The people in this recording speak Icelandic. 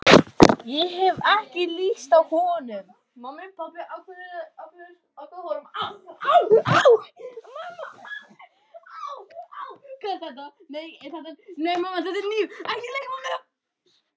Ég hef ekki lyst á honum.